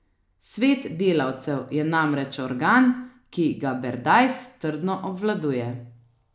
Svet delavcev je namreč organ, ki ga Berdajs trdno obvladuje.